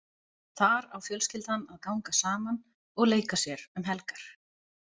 Þar á fjölskyldan að ganga saman og leika sér um helgar.